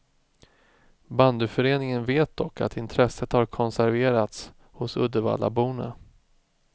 Bandyföreningen vet dock att intresset har konserverats hos uddevallaborna.